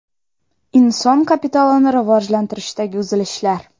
Inson kapitalini rivojlantirishdagi uzilishlar.